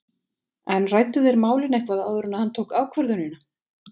En ræddu þeir málin eitthvað áður en hann tók ákvörðunina?